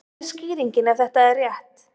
hver er skýringin ef þetta er rétt